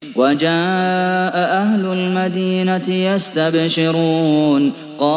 وَجَاءَ أَهْلُ الْمَدِينَةِ يَسْتَبْشِرُونَ